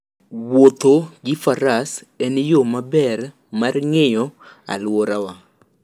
Wuotho gi Faras en yo maber mar ng'iyo alworawa.